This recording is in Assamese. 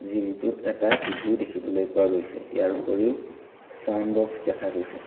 জিমটোত এটা টিভিও দেখিবলৈ পোৱা গৈছে ইয়াৰ উপৰিও ছাউন্ডবক্স দেখা গৈছে।